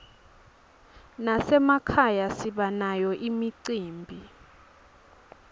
nasemakhaya sibanayo imicimbi